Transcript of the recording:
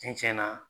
Cɛn cɛn na